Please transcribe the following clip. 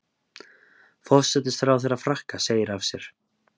Forsætisráðherra Frakka segir af sér